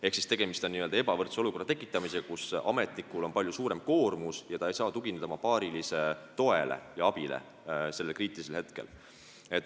Ehk tegemist on ebavõrdse olukorra tekitamisega, ametnikul on palju suurem koormus, ta ei saa tugineda oma paarilise toele ja abile sellel kriitilisel hetkel.